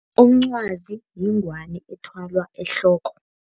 Umncwazi yingwani ethwalwa ehloko.